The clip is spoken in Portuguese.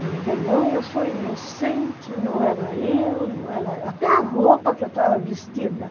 Mas não, eu sou inocente, não era eu, não era, até a roupa que eu estava vestida.